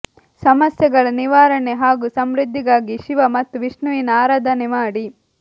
ಸಮಸ್ಯೆಗಳ ನಿವಾರಣೆ ಹಾಗೂ ಸಮೃದ್ಧಿಗಾಗಿ ಶಿವ ಮತ್ತು ವಿಷ್ಣುವಿನ ಆರಾಧನೆ ಮಾಡಿ